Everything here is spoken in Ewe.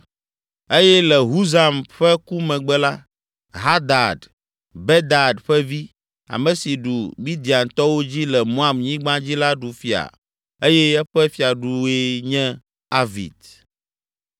eye le Husam ƒe ku megbe la, Hadad, Bedad ƒe vi, ame si ɖu Midiantɔwo dzi le Moab nyigba dzi la ɖu fia eye eƒe fiadue nye Avit.